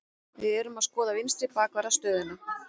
Við erum að skoða vinstri bakvarðar stöðuna.